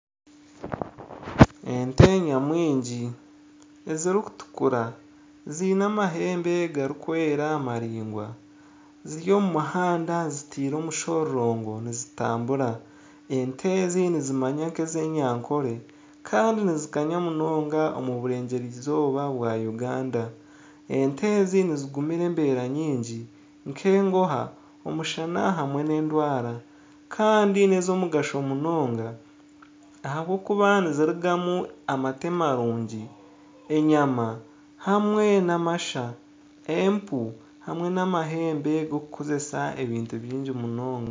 Ente nyamwingi ezirikutukura ziine amahembe garikwera maraingwa ziri omu muhanda zitiire omushororongo nizitambura ente ezi nizimanywa nka ez'enyankole kandi nizikanya munonga omu burengyerwa izooba bwa Uganda ente ezi nizigumira embera nyingi nka enguha, omushana hamwe n'endwara kandi ni ezomugasho munonga ahabwokuba nizirigamu amate marungi, enyama hamwe n'amasha , empunu hamwe n'amahembe gokukozesa ebintu bingi munonga.